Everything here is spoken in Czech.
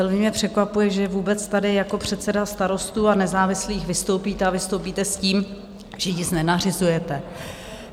Velmi mě překvapuje, že vůbec tady jako předseda Starostů a nezávislých vystoupíte a vystoupíte s tím, že nic nenařizujete.